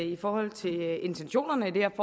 i folketingssalen når man